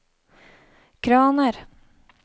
kraner